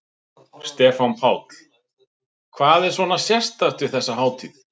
Stefán Páll: Hvað er svona sérstakt við þessa hátíð?